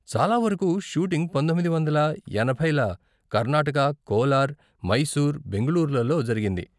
చాలా వరకు షూటింగ్ పంతొమ్మిది వందల ఎనభైల కర్నాటక, కోలార్, మైసూర్, బెంగుళూరులలో జరిగింది.